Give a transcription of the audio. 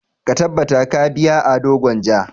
Ka tabbata ka biya Ado Gwanja!